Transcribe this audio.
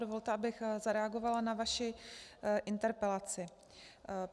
Dovolte, abych zareagovala na vaši interpelaci.